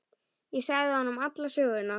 Ég sagði honum alla söguna.